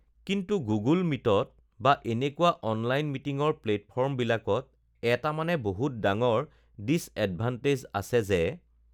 কিন্তু গুগ'ল মিটত বা এনেকুৱা অনলাইন মিটিঙৰ প্লেটফৰ্মবিলাকত এটা মানে বহুত ডাঙৰ ডিজএডভান্টেজ আছে যে